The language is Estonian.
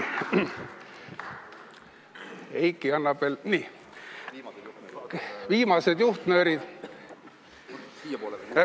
Eiki annab veel viimased juhtnöörid.